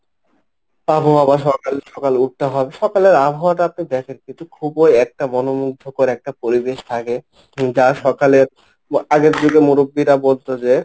আবহাওয়া সকাল সকাল উঠতে হবে সকালের আবহাওয়াটা আপনি দেখেন, কিন্তু খুব ওই একটা মনোমুগ্ধকর একটা পরিবেশ থাকে যা সকালে আগের যুগে মুরুব্বিরা বলত যে,